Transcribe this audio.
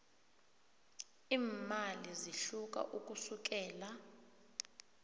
iimali zihluka ukusukela